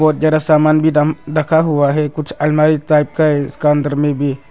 जरा सामान भी दम रखा हुआ है कुछ अलमारी टाइप का इसका अंदर में भी।